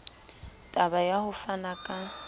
taba ya ho fana ka